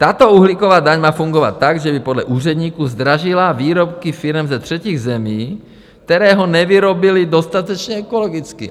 Tato uhlíková daň má fungovat tak, že by podle úředníků zdražila výrobky firem ze třetích zemí, které ho nevyrobily dostatečně ekologicky.